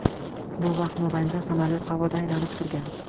Bu vaqt mobaynida samolyot havoda aylanib turgan.